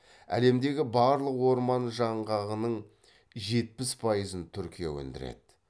әлемдегі барлық орман жаңғағының жетпіс пайызын түркия өндіреді